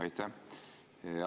Aitäh!